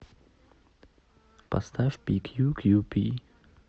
поставь пикьюкьюпи